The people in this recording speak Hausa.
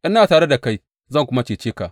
Ina tare da kai zan kuma cece ka,’